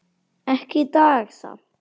Ekki í dag samt.